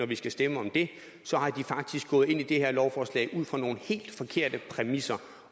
vi skal stemme om det faktisk gået ind i det her lovforslag ud fra nogle helt forkerte præmisser